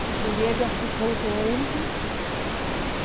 A Julieta ficou doente.